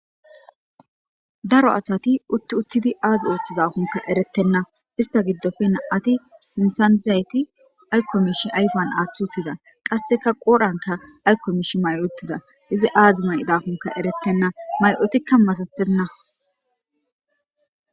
Daro asati utti uttidi aazi ooththizafunka eretenna ista giddofe na'ati sintsanizayti aykomish ayfan aaththi uttida qasseka qoodhanka aykkomish mayuttida izi aazi may'dafunka erettenna may'utikka masatenna.